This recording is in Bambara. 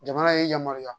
Jamana ye yamaruya